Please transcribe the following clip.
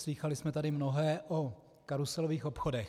Slýchali jsme tady mnohé o karuselových obchodech.